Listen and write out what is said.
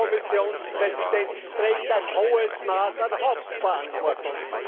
Der Kommissionspräsident trägt ein hohes Maß an Hauptverantwortung.